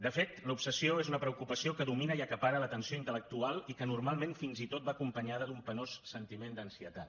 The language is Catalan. de fet l’obsessió és una preocupació que domina i acapara l’atenció intel·lectual i que normalment fins i tot va acompanyada d’un penós sentiment d’ansietat